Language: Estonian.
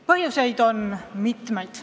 Põhjuseid on mitu.